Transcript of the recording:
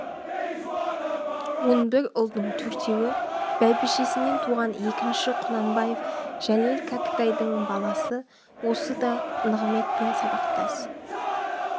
он бір ұлдың төртеуі бәйбішесінен туған екінші құнанбаев жәлел кәкітайдың бал асы ол да нығыметпен сабақтас